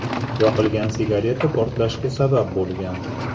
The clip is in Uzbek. Yoqilgan sigareta portlashga sabab bo‘lgan.